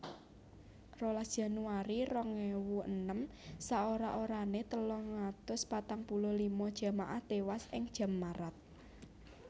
rolas Januari rong ewu enem Saora orané telung atus patang puluh lima jamaah tiwas ing Jammarat